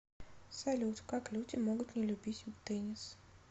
салют как люди могут не любить теннис